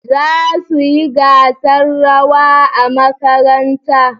Za su yi gasar rawa a makaranta